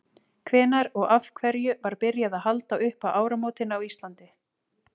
hvenær og af hverju var byrjað að halda upp á áramótin á íslandi